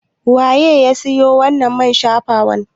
Waye ya siyo wannan man shafawar?